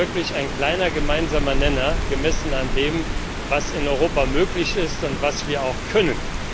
Das ist wirklich ein kleiner gemeinsamer Nenner, gemessen an dem, was in Europa möglich ist und was wir auch können.